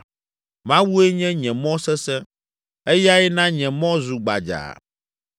Mawue nye nye mɔ sesẽ, eyae na nye mɔ zu gbadzaa.